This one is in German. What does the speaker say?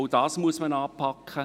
Auch das muss man anpacken.